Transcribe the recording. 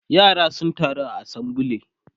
yara sun taru saboda assembly